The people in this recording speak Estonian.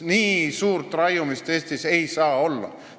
Nii suurt raiumist ei saa Eestis olla.